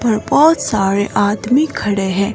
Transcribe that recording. और बहुत सारे आदमी खड़े हैं।